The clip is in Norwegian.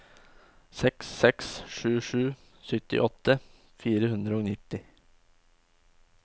seks seks sju sju syttiåtte fire hundre og nitti